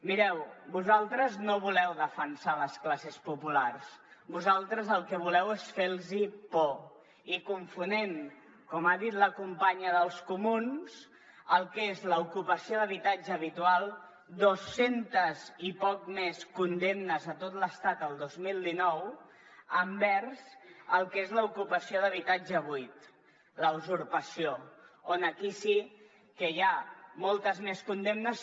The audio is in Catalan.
mireu vosaltres no voleu defensar les classes populars vosaltres el que voleu és fer los por i confonent com ha dit la companya dels comuns el que és l’ocupació d’habitatge habitual dos centes i poc més condemnes a tot l’estat el dos mil dinou envers el que és l’ocupació d’habitatge buit la usurpació on aquí sí que hi ha moltes més condemnes